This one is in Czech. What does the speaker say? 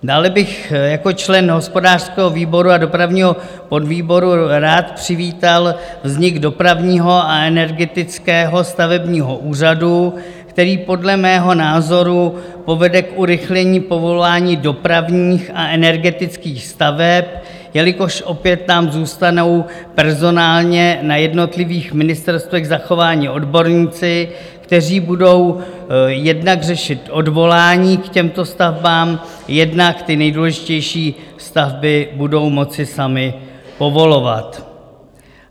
Dále bych jako člen hospodářského výboru a dopravního podvýboru rád přivítal vznik Dopravního a energetického stavebního úřadu, který podle mého názoru povede k urychlení povolání dopravních a energetických staveb, jelikož opět nám zůstanou personálně na jednotlivých ministerstvech zachováni odborníci, kteří budou jednak řešit odvolání k těmto stavbám, jednak ty nejdůležitější stavby budou moci sami povolovat.